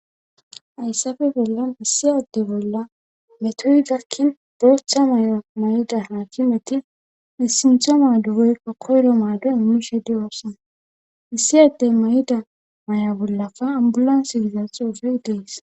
ayssafe bolla issiyadde bolla metoy gakkin booththa may7o may7da haakimeti issintho maadugeykka koyro maado immishedi oossana issi addey mayda may7a bollafa ambulan sigiza xuufey dees